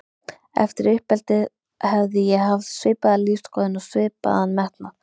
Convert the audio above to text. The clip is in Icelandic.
Eftir uppeldið hefði ég haft svipaða lífsskoðun og svipaðan metnað.